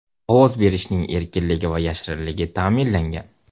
Ovoz berishning erkinligi va yashirinligi ta’minlangan.